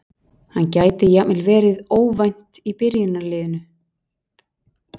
Hann gæti jafnvel verið óvænt í byrjunarliðinu.